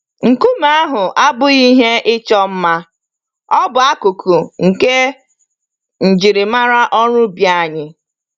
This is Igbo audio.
Nkume ahụ abụghị ihe ịchọ mma - ọ bụ akụkụ nke njirimara ọrụ ubi anyị.